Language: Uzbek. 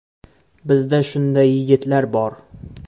Bizda shunday yigitlar bor.